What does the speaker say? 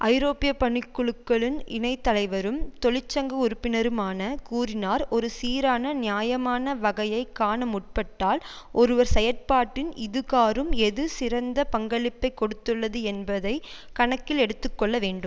ஐரோப்பிய பணிக்குழுக்களின் இணை தலைவரும் தொழிற்சங்க உறுப்பினருமான கூறினார் ஒரு சீரான நியாயமான வகையை காண முற்பட்டால் ஒருவர் செயற்பாட்டில் இதுகாறும் எது சிறந்த பங்களிப்பை கொடுத்துள்ளது என்பதை கணக்கில் எடுத்து கொள்ள வேண்டும்